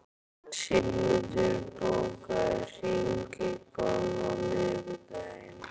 Sigmundur, bókaðu hring í golf á miðvikudaginn.